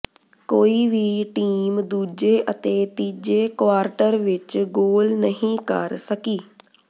ਕੋਈ ਵੀ ਟੀਮ ਦੂਜੇ ਅਤੇ ਤੀਜੇ ਕੁਆਰਟਰ ਵਿੱਚ ਗੋਲ ਨਹੀਂ ਕਰ ਸਕੀ